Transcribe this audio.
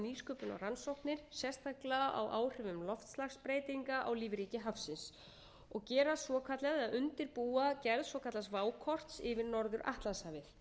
nýsköpun og rannsóknir sérstaklega á áhrifum loftslagsbreytinga á lífríki hafsins og gera svokallaða eða undirbúa gerð svokallaðs vákorts yfir norður atlantshafið